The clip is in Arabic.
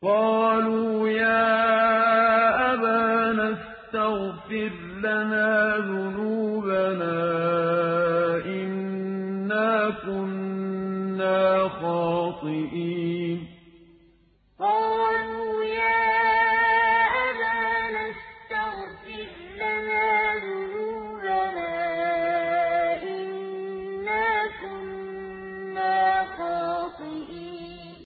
قَالُوا يَا أَبَانَا اسْتَغْفِرْ لَنَا ذُنُوبَنَا إِنَّا كُنَّا خَاطِئِينَ قَالُوا يَا أَبَانَا اسْتَغْفِرْ لَنَا ذُنُوبَنَا إِنَّا كُنَّا خَاطِئِينَ